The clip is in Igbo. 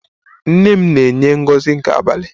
Nnenne m na enye Ngozi nke abalị.